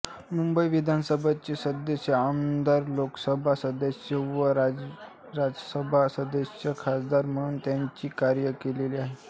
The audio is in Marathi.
मुंबई विधानसभेचे सदस्य आमदार लोकसभा सदस्य व राज्यसभा सदस्य खासदार म्हणून त्यांनी कार्य केलेले आहे